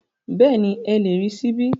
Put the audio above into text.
Bẹ́ẹ̀ni, ẹ lè rí ṣíbí